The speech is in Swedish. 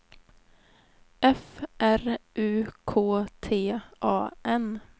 F R U K T A N